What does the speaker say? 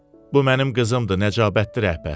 Bu mənim qızımdır, nəcəbatdır rəhbər.